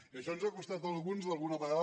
i això ens ha costat a alguns alguna vegada